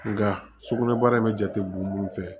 Nka sukunɛbara in bɛ jate bon mun fɛ